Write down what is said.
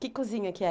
Que cozinha que é?